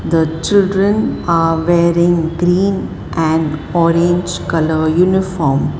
the children are wearing green and orange colour uniform.